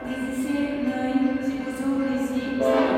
नैजिसे नै जिगुजौ नैजि स्नि